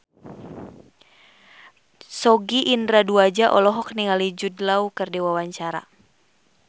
Sogi Indra Duaja olohok ningali Jude Law keur diwawancara